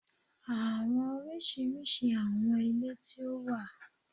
Awọn oriṣiriṣi awọn ile ti o wa